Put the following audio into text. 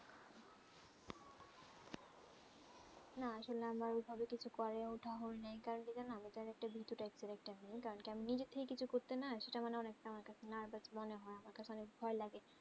না আসলে আমার ঐই ভাবে কিছু করেউটা হয়ে নি কারণ কি জানো আমি তা একটা ভীতু type character আমি কারণ কেমন যেতে কিছু করতে না সেটা মানে অনেক তা আমার কাছে nervous মনে হয়ে আমাকে অনেক ভয়ে লাগে